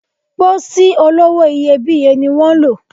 Pósí olówó iyebíye ni wan lò